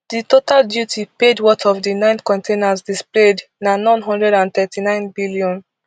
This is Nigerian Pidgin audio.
di total duty paid worth of di nine containers displayed na n one hundred and thirty-nine billion